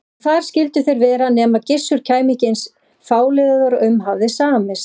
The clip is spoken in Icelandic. Og þar skyldu þeir vera nema Gissur kæmi ekki eins fáliðaður og um hafði samist.